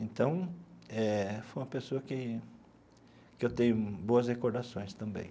Então eh, foi uma pessoa que que eu tenho boas recordações também.